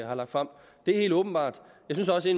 har lagt frem det er helt åbenbart jeg synes også